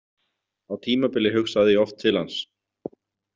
Á tímabili hugsaði ég oft til hans.